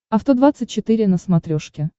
авто двадцать четыре на смотрешке